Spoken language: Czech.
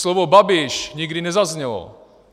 Slovo Babiš nikdy nezaznělo.